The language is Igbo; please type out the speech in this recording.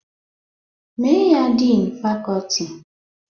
Mee ya Din fakọti!